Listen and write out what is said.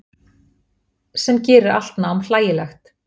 Sem gerir allt nám hlægilegt.